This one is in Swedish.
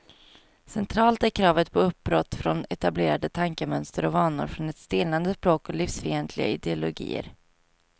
Centralt är kravet på uppbrott från etablerade tankemönster och vanor, från ett stelnande språk och livsfientliga ideologier.